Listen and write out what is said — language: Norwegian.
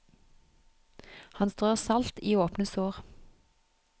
Han strør salt i åpne sår.